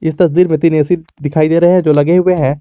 इस तस्वीर में तीन ऐ_सी दिखाई दे रहे हैं जो लगे हुए हैं।